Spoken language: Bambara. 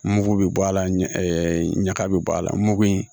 Mugu bɛ bɔ a la ɲaga bɛ bɔ a la mugu in